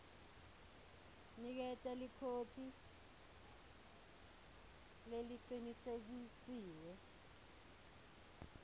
niketa ikhophi lecinisekisiwe